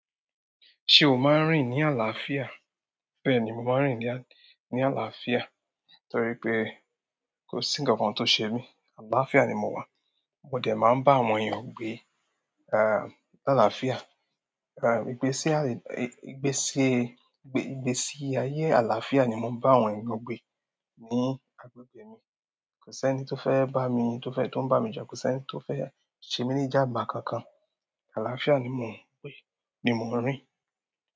Ṣé o máa ń rìn ní àlàáfíà? Bẹ́ẹ̀ni, mo máa ń rìn ní àlàáfíà torí pé kò sí nǹkan kan tó ṣe mí, àlàáfíà ni mo wà. Mo dẹ̀ máa ń bá àwọn èèyàn gbé, à, ní àlàáfíà. À, ìgbésí ayé, ìgbésí, ìgbésí ayé àlàáfíà ni mo ń bá àwọn èèyàn gbé ní agbègbè mi. Kò sí ẹni tó fẹ́ bá mi, tó fẹ́ tó ń bá mi jà. Kò sí ẹni tó fẹ́ ṣe mí ní ìjàǹbá kankan. Àlááfià ni ni mò ń rìn.